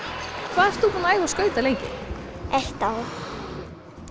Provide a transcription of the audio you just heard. hvað ert þú búinn að æfa skauta lengi eitt ár